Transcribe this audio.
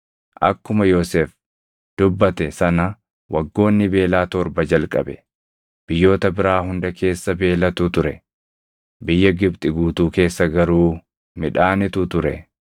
akkuma Yoosef dubbate sana waggoonni beelaa torba jalqabe. Biyyoota biraa hunda keessa beelatu ture; biyya Gibxi guutuu keessa garuu midhaanitu ture.